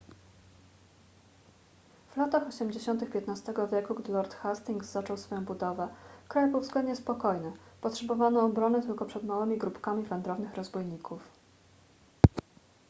w latach osiemdziesiątych xv wieku gdy lord hastings zaczął swoją budowę kraj był względnie spokojny potrzebowano obrony tylko przed małymi grupkami wędrownych rozbójników